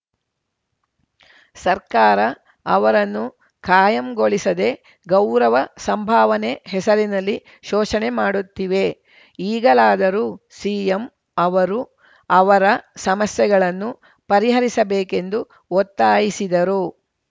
ಸರ್ಕಾರ ಅವರನ್ನು ಕಾಯಂಗೊಳಿಸದೆ ಗೌರವ ಸಂಭಾವನೆ ಹೆಸರಿನಲ್ಲಿ ಶೋಷಣೆ ಮಾಡುತ್ತಿವೆ ಈಗಲಾದರೂ ಸಿಎಂ ಅವರು ಅವರ ಸಮಸ್ಯೆಗಳನ್ನು ಪರಿಹರಿಸಬೇಕೆಂದು ಒತ್ತಾಯಿಸಿದರು